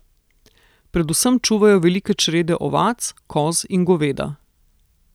Predvsem čuvajo velike črede ovac, koz in goveda.